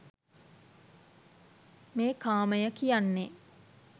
මේ කාමය කියන්නේ